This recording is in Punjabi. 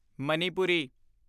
ਮਨੀਪੁਰੀ